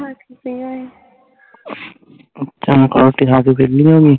ਤੂੰ ਨਾਲ ਤੇ ਵੇਹਲੀ ਹੋਗੀ